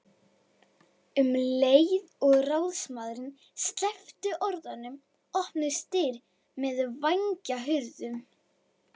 Um leið og ráðsmaðurinn sleppti orðinu opnuðust dyr með vængjahurðum.